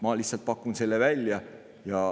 Ma lihtsalt pakun selle välja.